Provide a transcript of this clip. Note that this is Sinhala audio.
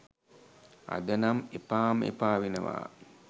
අද නම් එපාම එපා වෙනවා